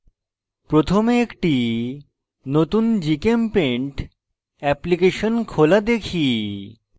প্রথমে একটি নতুন gchempaint অ্যাপ্লিকেশন খোলা দেখি